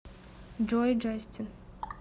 джой джастин